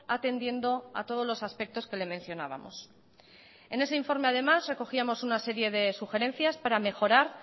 atendiendo a todos los aspectos que le mencionábamos en ese informe además recogíamos una serie de sugerencias para mejorar